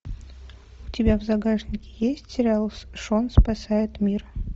у тебя в загашнике есть сериал шон спасает мир